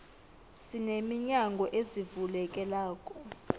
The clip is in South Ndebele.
sine minyango ezivulekelako